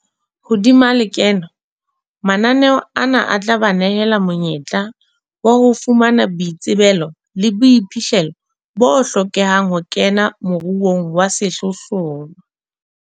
Hodima lekeno, mananeo ana a tla ba nehela monyetla wa ho fumana boitsebelo le boiphihlelo bo hlokehang ho kena moruong wa sehlohlolo.